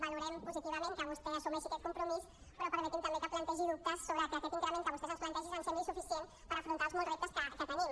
valorem positivament que vostè assumeixi aquest compromís però permeti’m també que plantegi dubtes sobre que aquest increment que vostès ens plantegin ens sembli suficient per afrontar els molts reptes que tenim